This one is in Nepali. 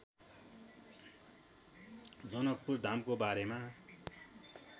जनकपुरधामको बारेमा